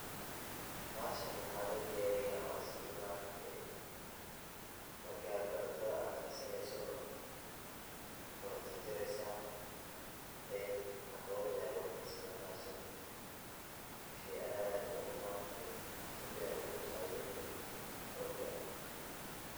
Bahashan waxa lodiyariya sida maaragte markad cuntada karsaneyso, wad jarjareysa then ambogada aya lugudarsada bahashana wa shey aad maaragte jirkaga kusacideynayo iyo xoga.